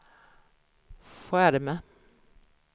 skärm